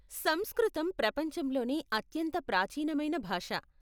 సంస్కృతం ప్రపంచంలోనే అత్యంత ప్రాచీనమైన భాష.